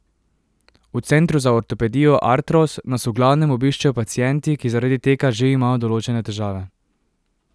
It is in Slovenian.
V centru za ortopedijo Artros nas v glavnem obiščejo pacienti, ki zaradi teka že imajo določene težave.